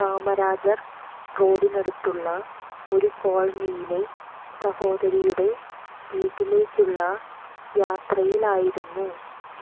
കാമരാജർ റോഡിനടുത്തുള്ള ഒരു കോളനിയിലെ സഹോദരിയുടെ വീട്ടിലേക്കുള്ള യാത്രയിലായിരുന്നു